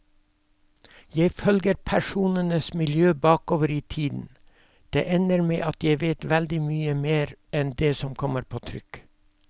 Jeg følger personenes miljø bakover i tiden, det ender med at jeg vet veldig mye mer enn det som kommer på trykk.